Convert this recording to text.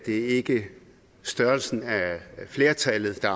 ikke at størrelsen af flertallet er